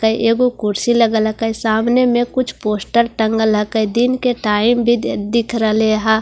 काई एगो कुर्सी लगा लकाई सामने मैं कुछ पोस्टर टंगा लकई दिन का टाइम भीदे दिख रहा लेहा।